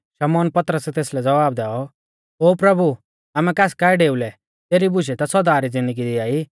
शमौन पतरसै तेसलै ज़वाब दैऔ ओ प्रभु आमै कास काऐ डेऊ लै तेरी बुशै ता सौदा री ज़िन्दगी दिआई